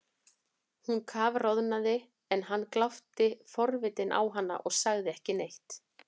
Hún kafroðnaði en hann glápti forvitinn á hana og sagði ekki neitt.